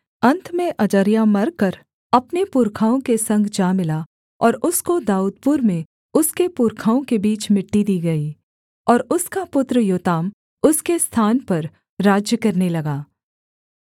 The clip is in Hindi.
अन्त में अजर्याह मरकर अपने पुरखाओं के संग जा मिला और उसको दाऊदपुर में उसके पुरखाओं के बीच मिट्टी दी गई और उसका पुत्र योताम उसके स्थान पर राज्य करने लगा